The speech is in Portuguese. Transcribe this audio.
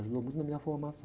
Ajudou muito na minha formação.